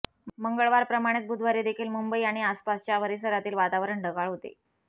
मंगळवारप्रमाणेच बुधवारीदेखील मुंबई आणि आसपासच्या परिसरातील वातावरण ढगाळ होते